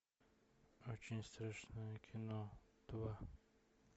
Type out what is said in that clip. очень страшное кино два